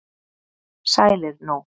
sælir nú